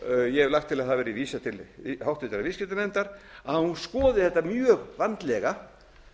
ég hef lagt til að það verði vísað til háttvirtrar viðskiptanefndar að hún skoði þetta mjög vandlega